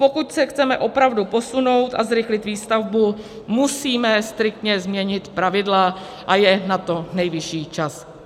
Pokud se chceme opravdu posunout a zrychlit výstavbu, musíme striktně změnit pravidla, a je na to nejvyšší čas.